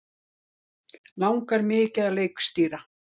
Langar mikið að leikstýra